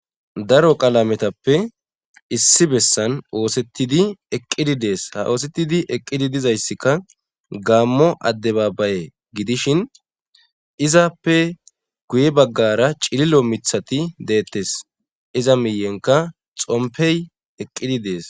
daro qalametappe issi bessan oosettidi eqqidi dees ha oosettidi eqqidi dizayssikka gaammo adde baabbaye gidishin izappe guye baggara cililo mithati deettes iza miyenka xompey eqqidi dees